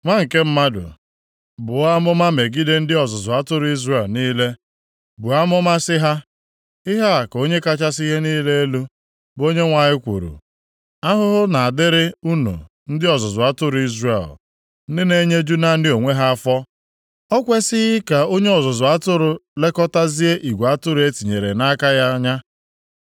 “Nwa nke mmadụ, buo amụma megide ndị ọzụzụ atụrụ Izrel niile, buo amụma sị ha, ‘Ihe a ka Onye kachasị ihe niile elu, bụ Onyenwe anyị kwuru: Ahụhụ na-adịrị unu ndị ọzụzụ atụrụ Izrel, ndị na-enyeju naanị onwe ha afọ. Ọ kwesighị ka onye ọzụzụ atụrụ lekọtazie igwe atụrụ e tinyere nʼaka ya anya?